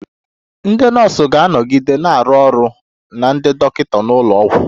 Ndị nọọsụ ga-anọgide na-arụ ọrụ na ndị dọkịta n'ụlọ ọgwụ